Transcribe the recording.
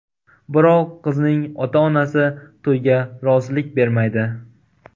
Biroq qizning ota-onasi to‘yga rozilik bermaydi.